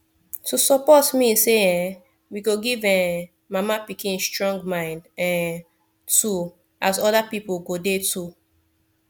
to support mean say um we go give um mama pikin strong mind um too as other people go dey too